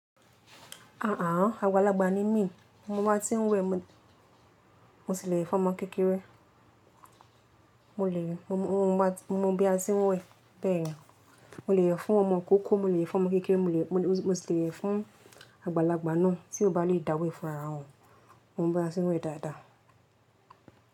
Àà ah, àgbàlagbà ni mí, mo má a tí ń wẹ̀, mo ti le we fún ọmọ kékeré. Mo lè, mo má bí a tí ń wẹ̀, bẹ́ẹ̀ yẹn. Mo lè we fún ọmọ kékeré, mo lè fún ọmọ ikókó, mo si lè we fún àgbàlagbà náà tí ó bá lè dàwe fun ara won. Mo mọ bí a tí ń wẹ̀ dáadáa.